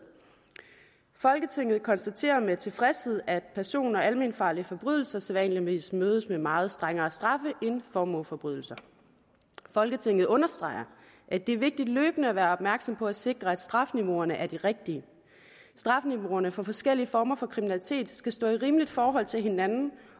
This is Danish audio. folketinget konstaterer med tilfredshed at person og almenfarlige forbrydelser sædvanligvis mødes med meget strengere straffe end formueforbrydelser folketinget understreger at det er vigtigt løbende at være opmærksom på at sikre at strafniveauerne er de rigtige strafniveauerne for forskellige former for kriminalitet skal stå i rimeligt forhold til hinanden